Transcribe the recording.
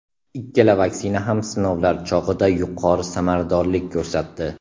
Ikkala vaksina ham sinovlar chog‘ida yuqori samaradorlik ko‘rsatdi.